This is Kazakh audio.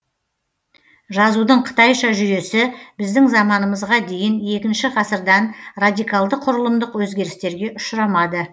жазудың қытайша жүйесі біздің заманымызға дейін екінші ғасырдан радикалды құрылымдық өзгерістерге ұшырамады